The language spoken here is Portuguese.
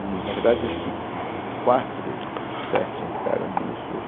E, na verdade, acho que hum quatro dos sete entraram nisso, a